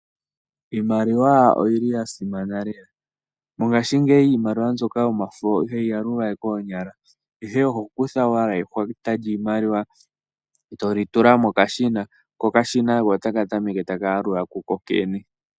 Iimaliwa oyili ya simana lela. Mongashingeyi Iimaliwa mbyoka yomafo ihayi yalulwa we koonyala ine oho kutha owala ehwata lyiimaliwa eto tula mokashina ko otaka tameke taka yalula kokene.